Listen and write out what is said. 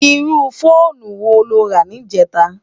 Irú fónú wó ló rá nijètá?